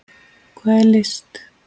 Hvað er list?